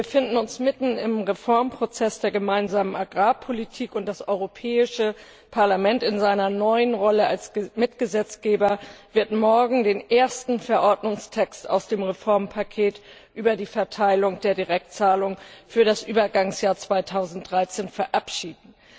Wir befinden uns mitten im Reformprozess der Gemeinsamen Agrarpolitik, und das Europäische Parlament in seiner neuen Rolle als Mitgesetzgeber wird morgen den ersten Verordnungstext aus dem Reformpaket über die Verteilung der Direktzahlungen für das Übergangsjahr 2013 verabschieden.